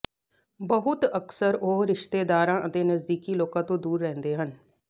ਬਹੁਤ ਅਕਸਰ ਉਹ ਰਿਸ਼ਤੇਦਾਰਾਂ ਅਤੇ ਨਜ਼ਦੀਕੀ ਲੋਕਾਂ ਤੋਂ ਦੂਰ ਰਹਿੰਦੇ ਹਨ